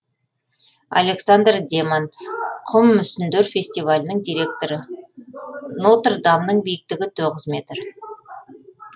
александр деман құм мүсіндер фестивалінің директоры нотр дамның биіктігі тоғыз метр